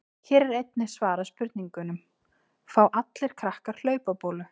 Hér er einnig svarað spurningunum: Fá allir krakkar hlaupabólu?